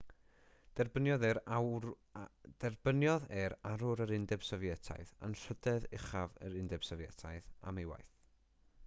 derbyniodd e'r arwr yr undeb sofietaidd anrhydedd uchaf yr undeb sofietaidd am ei waith